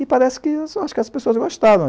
E parece que, acho as pessoas gostaram.